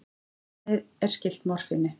Efnið er skylt morfíni.